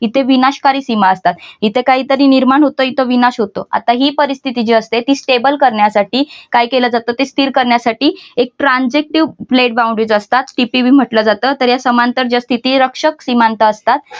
इथे विनाशकारी सीमा असतात इथं काहीतरी निर्माण होत इथं विनाश होतो आता ही परिस्थिती जी असते ती stable करण्यासाठी काय केल जात ते स्थिर करण्यासाठी एक transactive pledge boundaries असतात tpb म्हटलं जातं तर या समांतर ज्या स्तीती रक्षक सीमांत असतात